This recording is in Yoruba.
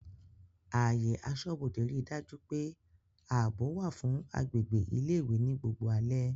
Ààyè aṣọ́bodè rí dájú pé ààbò wà fún agbègbè ilé ìwé ní gbogbo alẹ́